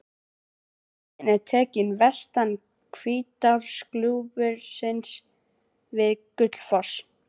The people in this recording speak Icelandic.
Myndin er tekin vestan Hvítárgljúfurs við Gullfoss.